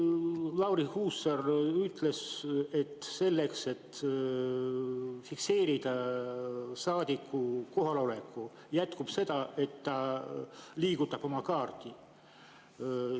Lauri Hussar ütles, et selleks, et fikseerida saadiku kohalolek, sellest, et ta liigutab oma kaarti.